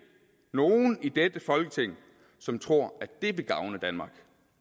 nogen i dette folketing som tror at det vil gavne danmark